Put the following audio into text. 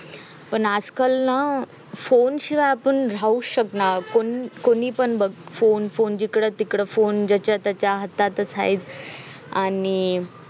पण आज काल ना अह phone शियाय आपण राहू शकना कोण कोणी पण बग phone phone जिकडे तिकडे phone ज्याच्या त्याच्य हातात हाय आणि